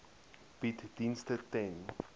bied dienste ten